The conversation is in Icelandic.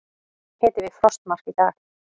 Hiti við frostmark í dag